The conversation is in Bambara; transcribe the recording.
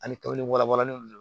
Ani kabi warabɔla n'u don